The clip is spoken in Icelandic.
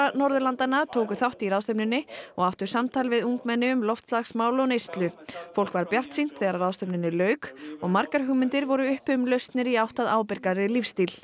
Norðurlandanna tóku þátt í ráðstefnunni og áttu samtal við ungmenni um loftslagsmál og neyslu fólk var bjartsýnt þegar ráðstefnunni lauk og margar hugmyndir voru uppi um lausnir í átt að ábyrgari lífsstíl